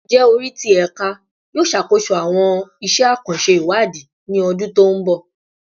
Njẹ ori ti Ẹka yoo ṣakoso awọn iṣẹ akanṣe iwadi ni ọdun to nbọ?